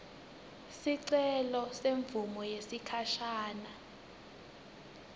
sicelo semvumo yesikhashane